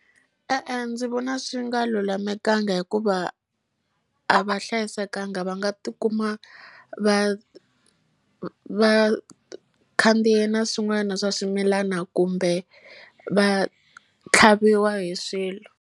E-e ndzi vona swi nga lulamekanga hikuva a va hlayisekanga va nga ti kuma va va khandziye na swin'wana swa swimilana kumbe va tlhaviwa hi swilo.